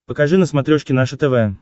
покажи на смотрешке наше тв